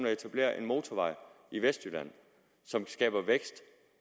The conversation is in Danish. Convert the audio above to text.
at etablere en motorvej i vestjylland som skaber vækst